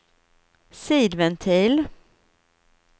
sidventil